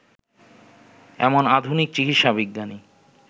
এমন আধুনিক চিকিৎসাবিজ্ঞানী